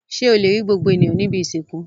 Ṣé ó le gbogbo ènìyàn ní ibi-ìsìnkú?